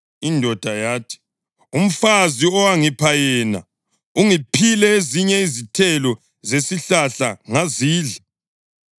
Indoda yathi, “Umfazi owangipha yena, ungiphile ezinye izithelo zesihlahla ngazidla.”